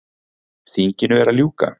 Þinginu er að ljúka.